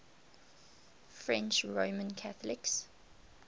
french roman catholics